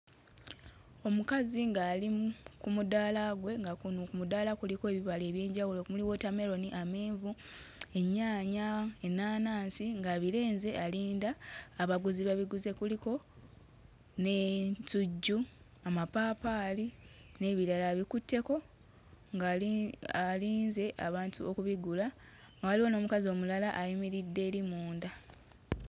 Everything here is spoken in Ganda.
Omukazi ng'ali mm ku mudaala gwe nga kuno ku mudaala kuliko ebibala eby'enjawulo omuli wootammeroni, amenvu, ennyaanya, ennaanansi ng'abirenze alinda abaguzi babiguze kuliko n'ensujju, amapaapaali n'ebirala abikutteko ng'ali alinze abantu okubigula nga waliwo n'omukazi omulala ayimiridde eri munda.